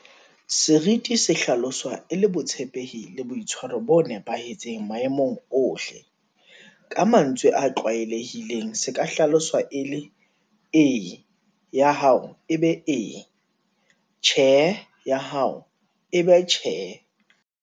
Seriti se hlaloswa e le botshepehi le boitshwaro bo nepahetseng maemong ohle. Ka mantswe a tlwaelehileng se ka hlaloswa e le - E! ya hao e be E! Tjhe! ya hao e be Tjhe!